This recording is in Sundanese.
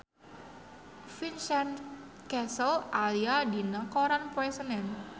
Vincent Cassel aya dina koran poe Senen